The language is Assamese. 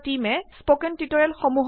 ফন্ট চাইজ ১৬ লৈকে বঢ়াওক